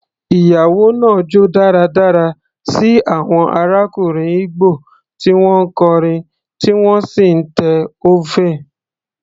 Ìyàwó náà jó dáradára sí àwọn arákùnrin Igbo tí wọ́n ń kọrin tí wọ́n sì ń te oven.